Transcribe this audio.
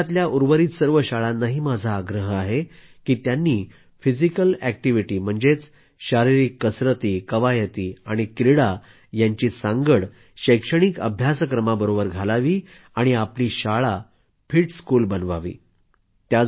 देशातल्या उर्वरित सर्व शाळांनाही माझा आग्रह आहे की त्यांनी फिजिकल एक्टिव्हीटी म्हणजे शारीरिक कसरतीकवायती आणि क्रीडा यांची सांगड शैक्षणिक अभ्यासक्रमाबरोबर घालावी आणि आपली शाळा फिट स्कूल बनवावी